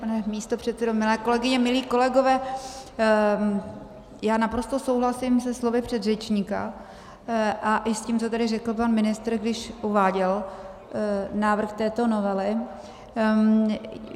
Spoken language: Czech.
Pane místopředsedo, milé kolegyně, milí kolegové, já naprosto souhlasím se slovy předřečníka a i s tím, co tady řekl pan ministr, když uváděl návrh této novely.